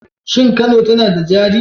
Shin Kano tana da jari?